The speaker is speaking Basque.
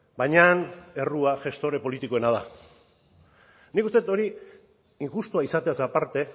baina errua gestore politikoena da nik uste dut hori injustua izateaz aparte